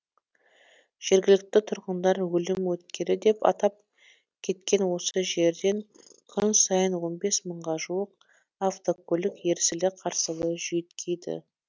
жергілікті тұрғындар өлім өткелі деп атап кеткен осы жерден күн сайын он бес мыңға жуық автокөлік ерсілі қарсылы жүйткиді